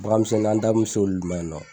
Baganmisɛnnin an da mɛ se olu ma yan nɔ.